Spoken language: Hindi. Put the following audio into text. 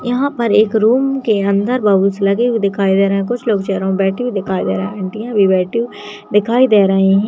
यहाँ पर एक रूम के अंदर बलून्स लगे हुए दिखाई दे रहे हैं कुछ लोग चेरयो में बैठे दिखाई दे रहे हैं आंटियां भी बैठी हुई दिखाई दे रही --